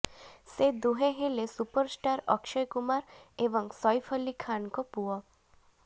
ସେ ଦୁହେଁ ହେଲେ ସୁପରଷ୍ଟାର୍ ଅକ୍ଷୟ କୁମାର ଏବଂ ସୈଫ୍ ଅଲ୍ଲୀ ଖାନଙ୍କ ପୁଅ